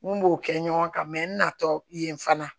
N b'o kɛ ɲɔgɔn kan n natɔ yen fana